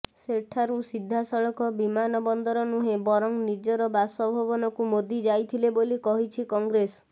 ସେଠାରୁ ସିଧାସଳଖ ବିମାନବନ୍ଦର ନୁହେଁ ବରଂ ନିଜର ବାସଭବନକୁ ମୋଦି ଯାଇଥିଲେ ବୋଲି କହିଛି କଂଗ୍ରେସ